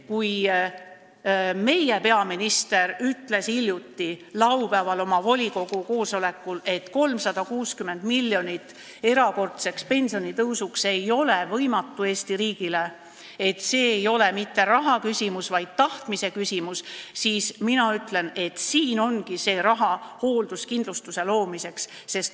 Kui meie peaminister ütles laupäeval oma erakonna volikogu koosolekul, et leida 360 miljonit erakordseks pensionitõusuks ei ole Eesti riigile võimatu ülesanne, et see ei ole mitte rahaküsimus, vaid tahtmise küsimus, siis mina ütlen, et siin ongi see raha hoolduskindlustuse loomiseks.